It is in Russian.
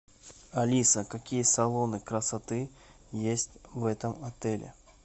алиса какие салоны красоты есть в этом отеле